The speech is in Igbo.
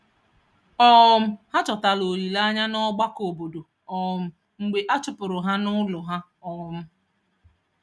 um Ha chọtara olileanya n’ọgbakọ obodo um mgbe a chụpụrụ ha n’ụlọ ha. um